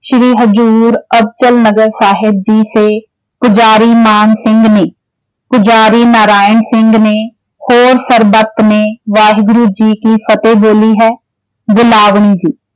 ਸ਼੍ਰੀ ਹਜ਼ੂਰ ਅਬਚਲ ਨਗਰ ਸਾਹਿਬ ਜੀ ਸੇ ਪੁਜ਼ਾਰੀ ਮਾਨ ਸਿੰਘ ਨੇ, ਪੁਜ਼ਾਰੀ ਨਾਰਾਇਣ ਸਿੰਘ ਨੇ ਹੋਰ ਸਰਬੱਤ ਨੇ ਵਾਹਿਗੁਰੂ ਜੀ ਕੀ ਫਤਿਹ ਬੋਲੀ ਹੈ।